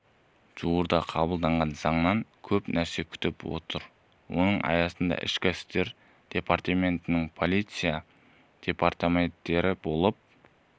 жуырда қабылданған заңнан көп нәрсе күтіп отыр оның аясында ішкі істер департаменттері полиция департаменттері болып